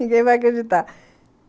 Ninguém vai acreditar.